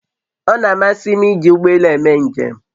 O na-amasị m iji ụgbọ elù eme njem